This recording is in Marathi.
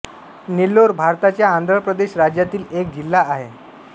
नेल्लोर भारताच्या आंध्र प्रदेश राज्यातील एक जिल्हा आहे